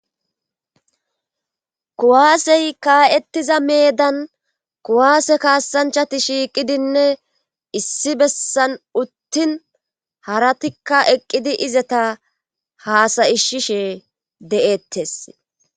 Kuwaasey kaa7ettiza meedan kuwaase kaassanchati shiiqidinne issi bessan uttin haratikka eqqidi izata haasayishishe de7ettes.